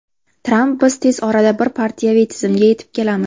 Tramp: Biz tez orada bir partiyaviy tizimga yetib kelamiz.